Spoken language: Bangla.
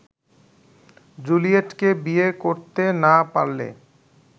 জুলিয়েটকে বিয়ে করতে না পারলে